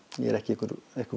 ég er ekki einhver einhver